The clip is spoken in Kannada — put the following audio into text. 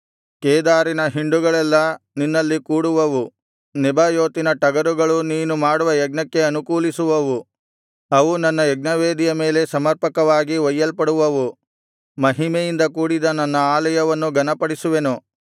ಕೇದಾರಿನ ಹಿಂಡುಗಳೆಲ್ಲಾ ನಿನ್ನಲ್ಲಿ ಕೂಡುವವು ನೆಬಾಯೋತಿನ ಟಗರುಗಳು ನೀನು ಮಾಡುವ ಯಜ್ಞಕ್ಕೆ ಅನುಕೂಲಿಸುವವು ಅವು ನನ್ನ ಯಜ್ಞವೇದಿಯ ಮೇಲೆ ಸಮರ್ಪಕವಾಗಿ ಒಯ್ಯಲ್ಪಡುವವು ಮಹಿಮೆಯಿಂದ ಕೂಡಿದ ನನ್ನ ಆಲಯವನ್ನು ಘನಪಡಿಸುವೆನು